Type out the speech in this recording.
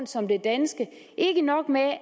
som det danske ikke nok med